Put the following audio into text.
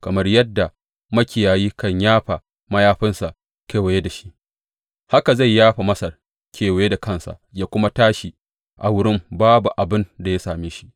Kamar yadda makiyayi yakan yafa mayafinsa kewaye da shi, haka zai yafa Masar kewaye da kansa ya kuma tashi a wurin babu abin da ya same shi.